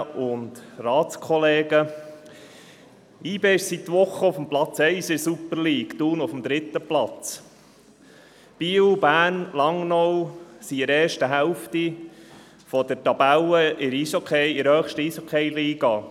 YB ist seit Wochen auf Platz 1 in der Super League, Thun auf Platz 3. Biel, Bern und Langnau stehen in der oberen Hälfte der Tabelle der höchsten Eishockey-Liga.